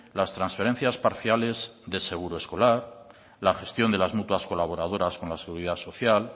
las transferencias parciales de seguro escolar la gestión de las mutuas colaboradoras con la seguridad social